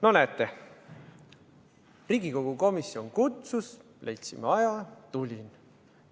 No näete, Riigikogu komisjon kutsus, leidsime aja, ma tulin kohale.